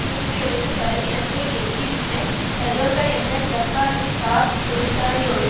நூற்றி ஏழு சதவீதத்தை எட்டிவிட்ட டொயோடா என்ற ஜப்பானிய கார் தொழிற்சாலையோடு